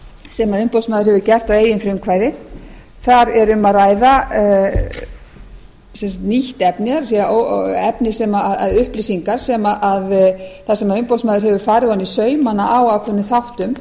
sem umboðsmaður hefur gert að eigin frumkvæði þar er um að ræða nýtt efni upplýsingar þar sem umboðsmaður hefur farið ofan í saumana á ákveðnum þáttum